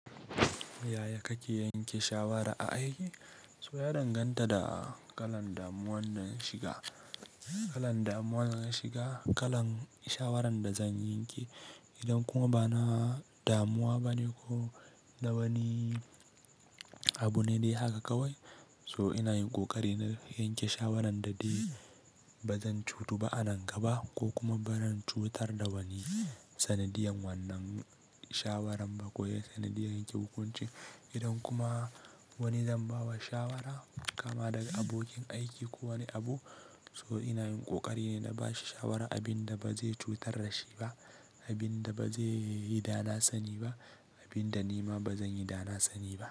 Yaya kake yanke shawara a aiki? So ya danganta da kalan damuwan da na shiga. Kalan damuwan da zan shiga, kalan shawaran da zan yanke. Idan kuma bana damuwa bane ko da wani abu ne dai haka kawai, so ina yin ƙoƙari na yanke shawarar da ba zan cutu ba a nan ga ba ko kuma ba zan cutar da wani sanadiyan wannan shawaran ba ko sanadiyan yanke hukunci. Idan kuma wani zan ba wa shawara, kama daga abokin aiki ko wani abu, so ina yin ƙoƙari ne na bashi shawara abin da ba zai cutar da shi ba, abin da ba zai yi dana sani ba, abin da ni ma ba zan yi dana sani ba.